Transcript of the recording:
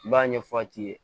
I b'a ɲɛfɔ a t'i ye